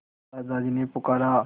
दादाजी ने पुकारा